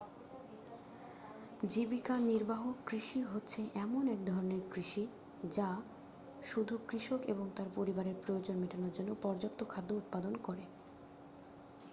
জীবিকা নির্বাহক কৃষি হচ্ছে এমন এক ধরণের কৃষি যা শুধু কৃষক এবং তার পরিবারের প্রয়োজন মেটানোর জন্য পর্যাপ্ত খাদ্য উৎপাদন করে